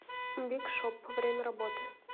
биг шоп время работы